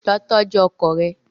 Lọ tọju ọkọ rẹ!